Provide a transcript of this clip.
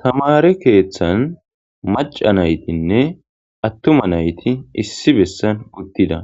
Tamare keeththan maca naytinne attuma nayti issi bessan uttida